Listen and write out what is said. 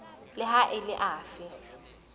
le ha e le afe